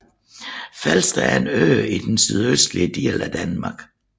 Falster er en dansk ø i den sydøstlige del af Danmark